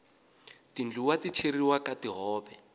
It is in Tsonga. tindluwa ti cheriwa ka tihove